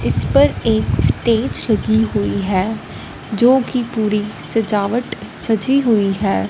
इस पर एक स्टेज लगी हुई है जोकि पूरी सजावट सजी हुई है।